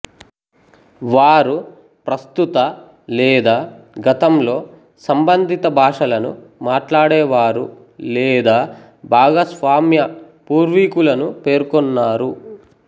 వారు ప్రస్తుత లేదా గతంలో సంబంధిత భాషలను మాట్లాడేవారు లేదా భాగస్వామ్య పూర్వీకులను పేర్కొన్నారు